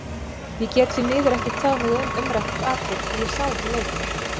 Ég get því miður ekki tjáð mig um umrætt atvik því ég sá ekki leikinn.